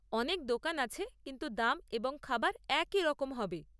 অনেক দোকান আছে, কিন্তু দাম এবং খাবার একই রকম হবে।